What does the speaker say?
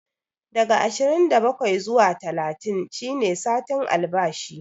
Daga ashirin da bakwai zuwa talatin shi ne satin albashi